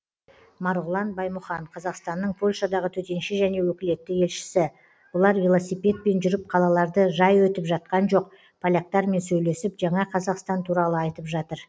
марғұлан баймұхан қазақстанның польшадағы төтенше және өкілетті елшісі бұлар велосипедпен жүріп қалаларды жай өтіп жатқан жоқ поляктармен сөйлесіп жаңа қазақстан туралы айтып жатыр